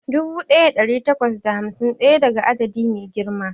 Dubu ɗaya da ɗari takwas da hamsin da ɗaya adadi ne mai girma